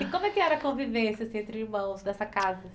E como é que era a convivência assim entre irmãos, nessa casa?